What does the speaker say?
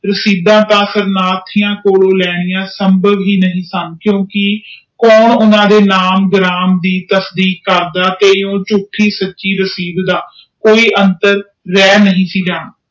ਰਸੀਦਾਂ ਤੋਂ ਸ਼ਰਨਾਰਥੀਆਂ ਕੋਲੋਂ ਲੈਣੀਆਂ ਸੰਭਵ ਹੀ ਨਹੀਂ ਸਨ ਕਿਉਕਿ ਉਹ ਓਹਨਾ ਦੇ ਨਾਮ ਭਰਣੰ ਦੇ ਪੁਸ਼ਟੀ ਕਰਦਾ ਤੇ ਯੋਗ ਝੂਠੀ ਸਾਚੀ ਰਸ਼ੀਦ ਦੇ ਕੋਈ ਅੰਤਰ ਰਹਿ ਨਹੀਂ ਸੀ ਜਾਂਦਾ